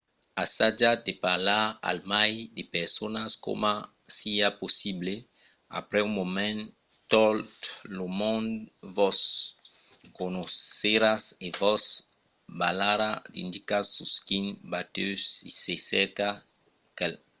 assajatz de parlar al mai de personas coma siá possible. aprèp un moment tot lo monde vos coneisserà e vos balharà d’indicas sus quin batèu se cerca qualqu’un